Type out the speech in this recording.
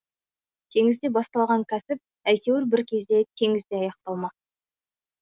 теңізде басталған кәсіп әйтеуір бір кезде теңізде аяқталмақ